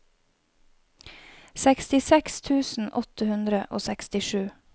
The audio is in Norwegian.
sekstiseks tusen åtte hundre og sekstisju